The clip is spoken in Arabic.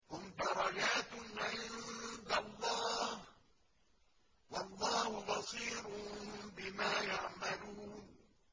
هُمْ دَرَجَاتٌ عِندَ اللَّهِ ۗ وَاللَّهُ بَصِيرٌ بِمَا يَعْمَلُونَ